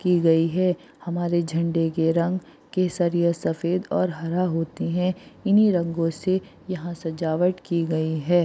की गयी है हमारे झंडे के रंग केसरिया सफेद और हरा होते है इनि रंगो से यहाँ सजावट की गए है।